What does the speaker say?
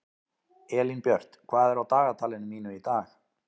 Elínbjört, hvað er á dagatalinu mínu í dag?